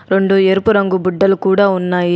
రెండు ఎరుపు రంగు బుడ్డలు కూడా ఉన్నాయి.